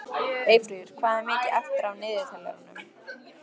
Eyfríður, hvað er mikið eftir af niðurteljaranum?